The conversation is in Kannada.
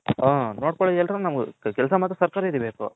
ಕೆಲಸ ಮಾತ್ರ ಸರ್ಕಾರೀ ದೇ ಬೇಕು